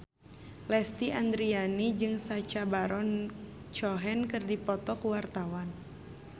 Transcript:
Lesti Andryani jeung Sacha Baron Cohen keur dipoto ku wartawan